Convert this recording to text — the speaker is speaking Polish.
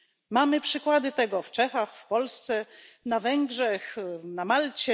Mamy przykłady tego w Czechach, w Polsce, na Węgrzech, na Malcie.